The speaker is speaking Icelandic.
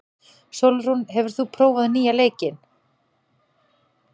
Sólrún, hefur þú prófað nýja leikinn?